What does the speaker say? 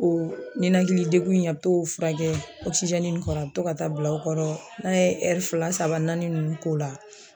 O ɲinakili degun in a be t'o furakɛ ɔkisizɛni in kɔrɔ a be to ka taa bila o kɔrɔ n'a ye ɛri fila saba naani nunnu k'o la